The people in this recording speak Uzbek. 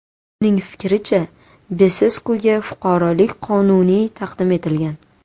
Uning fikricha, Beseskuga fuqarolik noqonuniy taqdim etilgan.